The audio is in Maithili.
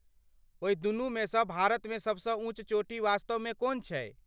ओहि दुनूमेसँ भारतमे सबसँ ऊँच चोटी वास्तवमे कोन छै?